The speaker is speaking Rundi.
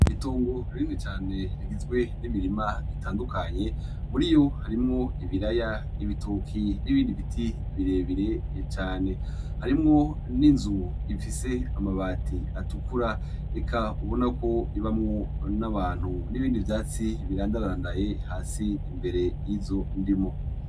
Itongo rinini cane rigizwe n'imirima itandukanye muriyo harimwo ibiraya, ibitoke n'ibindi biti birebire cane harimwo n'inzu ifise amabati atukura eka ubonako ibamwo n'abantu, n' ibindi vyatsi birandarandaye hasi imbere y'izo ndimo.